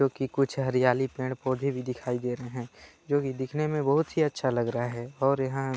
क्योंकि कुछ हरियाली पेड़ -पौधे भी दिखाई दे रहे हैं जोकि दिखने में बहुत ही अच्छा लग रहा है और यहाँ --